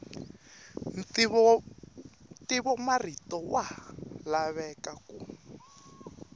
ntivomarito wa ha lava ku